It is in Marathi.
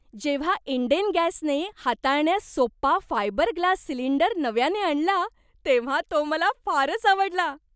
जेव्हा इंडेन गॅसने हाताळण्यास सोपा फायबरग्लास सिलिंडर नव्याने आणला तेव्हा तो मला फारच आवडला.